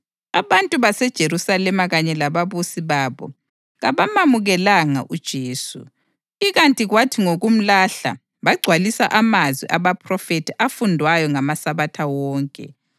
Abantu baseJerusalema kanye lababusi babo kabamamukelanga uJesu, ikanti kwathi ngokumlahla bagcwalisa amazwi abaphrofethi afundwayo ngamaSabatha wonke.